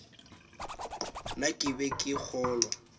na ke be ke kgolwa